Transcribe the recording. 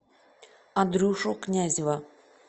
андрюшу князева